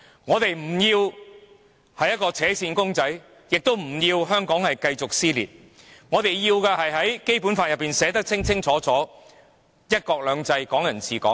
我們不要扯線公仔，亦不想見到香港繼續撕裂；我們想要的，是《基本法》清楚訂明的"一國兩制"和"港人治港"。